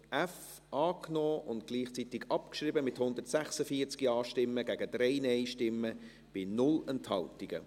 Sie haben auch diesen Punkt f angenommen und gleichzeitig abgeschrieben, mit 146 Ja- gegen 3 Nein-Stimmen bei 0 Enthaltungen.